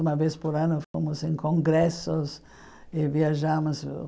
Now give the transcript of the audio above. Uma vez por ano fomos em congressos e viajamos.